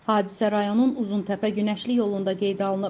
Hadisə rayonun Uzuntəpə günəşli yolunda qeydə alınıb.